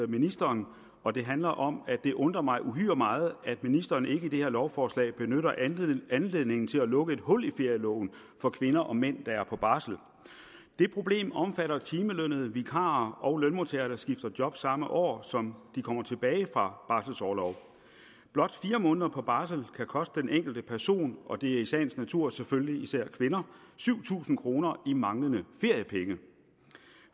ministeren og det handler om at det undrer mig uhyre meget at ministeren ikke i det her lovforslag benytter anledningen til at lukke et hul i ferieloven for kvinder og mænd der er på barsel det problem omfatter timelønnede vikarer og lønmodtagere der skifter job samme år som de kommer tilbage fra barselorlov blot fire måneder på barsel kan koste den enkelte person og det er i sagens natur selvfølgelig især kvinder syv tusind kroner i manglende feriepenge